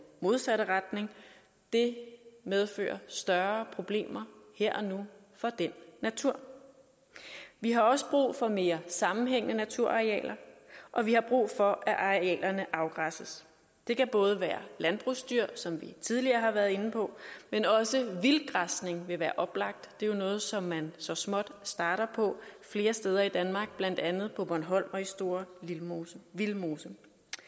modsatte retning det medfører større problemer her og nu for den natur vi har også brug for mere sammenhængende naturarealer og vi har brug for at arealerne afgræsses det kan både være landbrugsdyr som vi tidligere har været inde på men også vildgræsning vil være oplagt det er jo noget som man så småt starter på flere steder i danmark blandt andet på bornholm og i store vildmose vildmose